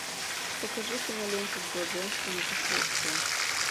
покажи киноленту джо джонстона последствия